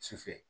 Sufɛ